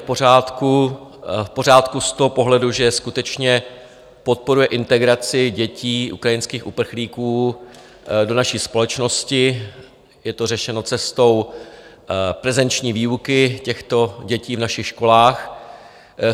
V pořádku z toho pohledu, že skutečně podporuje integraci dětí ukrajinských uprchlíků do naší společnosti, je to řešeno cestou prezenční výuky těchto dětí v našich školách.